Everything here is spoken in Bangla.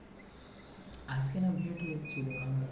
আজকে না ছিল আমার